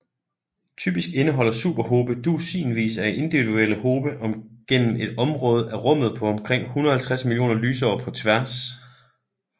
Typisk indeholder superhobe dusinvis af individuelle hobe gennem et område af rummet på omkring 150 millioner lysår på tværs